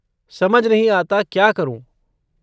समझ नहीं आता क्या करूँ।